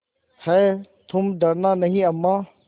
हैतुम डरना नहीं अम्मा